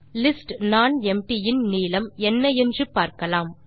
list nonempty இன் நீளம் என்ன என்று பார்க்கலாம்